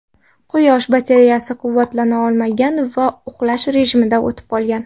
Quyosh batareyasi quvvatlana olmagan va uxlash rejimiga o‘tib qolgan.